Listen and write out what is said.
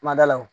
Kuma da la o